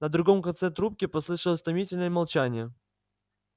на другом конце трубки послышалось томительное молчание